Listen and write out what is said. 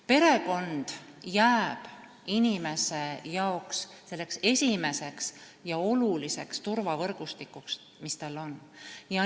Perekond jääb inimese jaoks esimeseks ja olulisimaks turvavõrgustikuks, mis tal on.